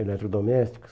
Eletrodomésticos.